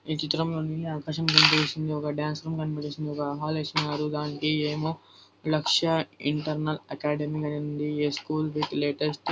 ఈ చిత్రం లోని ఆకాశం కనిపిస్తుంది ఒక డాన్స్ రూమ్ కనిపిస్తుంది ఒక హాల్ ఇస్తునారు దానికి ఏమో Lakshya internal academy a school with latest--